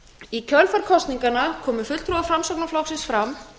í kjölfar kosninganna komu fulltrúar framsóknarflokksins fram